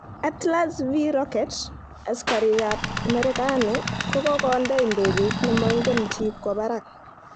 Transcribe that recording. Atlas V rocket:asikarik kap merekani kokonde idegeit nemongen chi kwo barak.